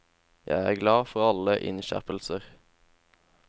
Jeg er glad for alle innskjerpelser.